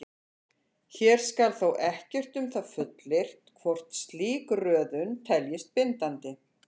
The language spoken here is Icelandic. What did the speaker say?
Hér skal þó ekkert um það fullyrt hvort slík röðun teljist bindandi.